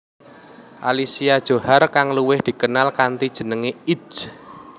Alicia Djohar kang luwih dikenal kanthi jeneng Itje